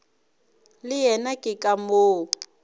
le yena ke ka moo